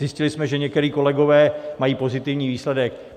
Zjistili jsme, že někteří kolegové mají pozitivní výsledek.